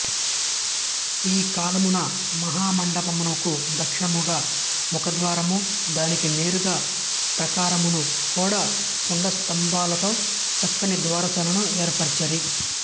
ఈ కాలమున మహామండపమునకు దక్షిణముగా ముఖద్వారము దానికి నేరుగా ప్రాకారమును కూడా కుడ్యస్తంభములతో చక్కని ద్వారశాలను ఏర్పరచిరి